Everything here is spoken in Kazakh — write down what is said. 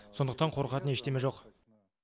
сондықтан қорқатын ештеңе жоқ